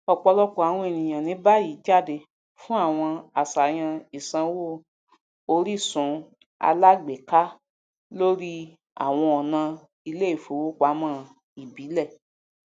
ọpọlọpọ àwọn ènìyàn ní báyìí jáde fún àwọn aṣayan ìsanwó orísunalágbèéká lórí àwọn ọnà iléìfowopamọ ìbílẹ